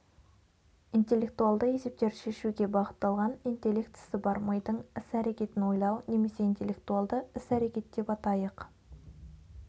интеллектуалды есептерді шешуге бағытталған интеллектісі бар мидың іс-әрекетін ойлау немесе интеллектуалды іс-әрекет деп атайық